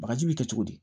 Bagaji bi kɛ cogo di